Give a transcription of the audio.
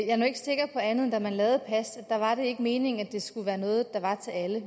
er nu ikke sikker på andet end at da man lavede pas var det ikke meningen at det skulle være noget der var til alle